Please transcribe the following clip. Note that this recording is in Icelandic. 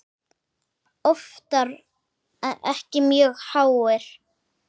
Oftar en ekki mjög háir.